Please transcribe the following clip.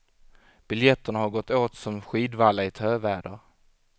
Biljetterna har gått åt som skidvalla i töväder.